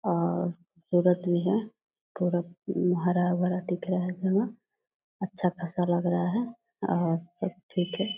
और खूबसूरत भी है पूरा उम हरा-भरा दिख रहा है यहाँ अच्छा खासा लग रहा है और सब ठीक है।